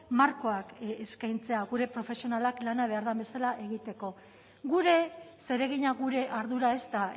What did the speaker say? markoak eskaintzea gure profesionalak lana behar den bezala egiteko gure zeregina gure ardura ez da